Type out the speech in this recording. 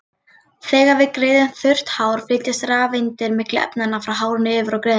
Þegar við greiðum þurrt hár flytjast rafeindir milli efnanna, frá hárinu yfir á greiðuna.